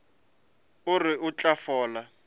o re o tla fola